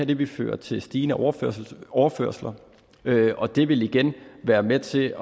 det vil føre til stigende overførsler overførsler og det vil igen være med til at